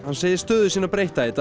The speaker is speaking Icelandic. segir stöðu sína breytta í dag